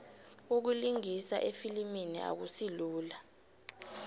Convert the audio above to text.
ukulingisa efilimini akusilula